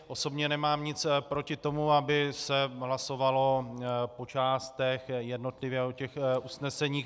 Osobně nemám nic proti tomu, aby se hlasovalo po částech, jednotlivě, o těch usneseních.